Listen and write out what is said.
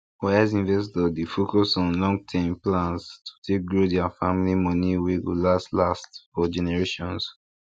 wise investors dey focus on longterm plans to take grow their family money wey go last last for generations